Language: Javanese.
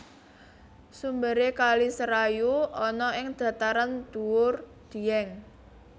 Sumbere kali serayu ana ing Dhataran dhuwur Dièng